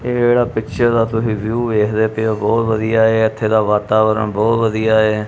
ਇਹ ਜਿਹੜਾ ਪਿਕਚਰ ਦਾ ਤੁਸੀ ਵਿਊ ਵੇਖਦੇ ਪਏ ਹੋ ਬਹੁਤ ਵਧੀਆ ਹੈ। ਇੱਥੇ ਦਾ ਵਾਤਾਵਰਣ ਬਹੁਤ ਵਧੀਆ ਹੈ।